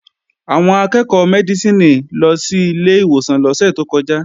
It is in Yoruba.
Àwọn akẹ́ẹ̀kọ́ Mẹ́dísìnì lọ sí ilé ìwòsàn lọ́sẹ̀ tó kọjá